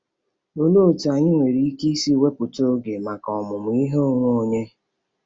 Olee otú anyị nwere ike isi wepụta oge maka ọmụmụ ihe onwe onye?